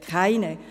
Keine.